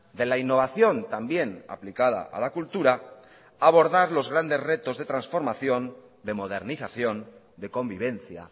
de la innovación también aplicada a la cultura abordar los grandes retos de transformación de modernización de convivencia